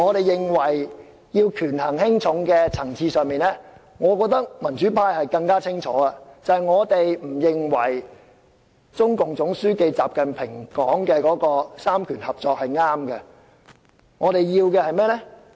在權衡輕重的層次上，我認為民主派更清楚，我們不認為中共總書記習近平說的"三權合作"是正確的。